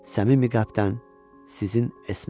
Səmimi qəlbdən sizin Esme.